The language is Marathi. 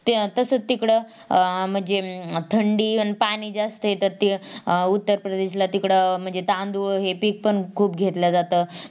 ते तसच तिकडं अं म्हणजे थंडी अन पाणी जास्त आहे तर ते अं उत्तर प्रदेशला तिकडं अं म्हणजे तांदूळ पीक पण खूप घेतला जात